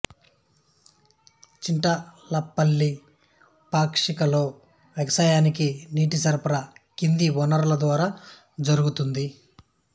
చింటల్పల్లి పాక్షిక లో వ్యవసాయానికి నీటి సరఫరా కింది వనరుల ద్వారా జరుగుతోంది